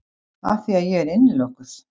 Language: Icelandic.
Afþvíað ég er innilokuð.